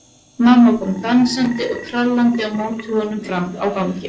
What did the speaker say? Mamma kom dansandi og trallandi á móti honum fram á ganginn.